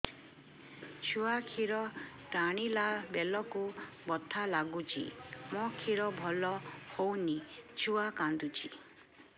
ଛୁଆ ଖିର ଟାଣିଲା ବେଳକୁ ବଥା ଲାଗୁଚି ମା ଖିର ଭଲ ହଉନି ଛୁଆ କାନ୍ଦୁଚି